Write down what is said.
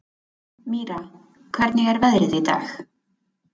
Mýra, hvernig er veðrið í dag?